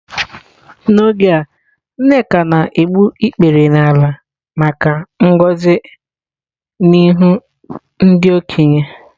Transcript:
N'oge a nneka na-egbu ikpere n'ala maka ngọzi n'ihu ndị okenye.